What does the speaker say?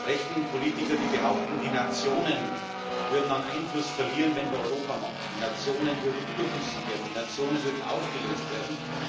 rechten Politiker, die behaupten, die Nationen würden an Einfluss verlieren, wenn wir Europa machen, die Nationen würden überflüssig werden, die Nationen würden aufgelöst werden.